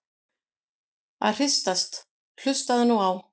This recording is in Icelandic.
að hristast- hlustaðu nú á!